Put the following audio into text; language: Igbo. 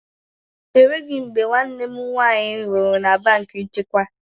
Enweghị mgbe nwanne m nwaanyị rụrụ na banki nchekwa.